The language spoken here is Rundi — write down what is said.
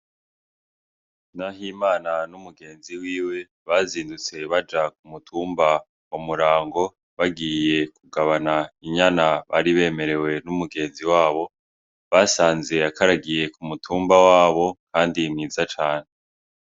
Nahimana n'umugenzi wiwe bazindutse baja ku mutumba wa Murango bagiye kugabana inyana bari bemerewe n'umugenzi wabo, basanze akaragiye ku mutumba wabo kandi mwiza cane.